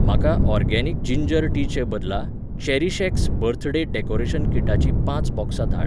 म्हाका organic ginger टीचे बदला चेरीशएक्स बर्थडे डेकॉरेशन किटाचीं पांच बॉक्सां धाड